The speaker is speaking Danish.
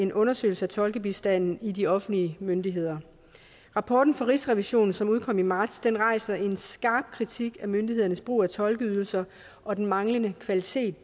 en undersøgelse af tolkebistanden hos de offentlige myndigheder rapporten fra rigsrevisionen som udkom i marts rejser en skarp kritik af myndighedernes brug af tolkeydelser og den manglende kvalitet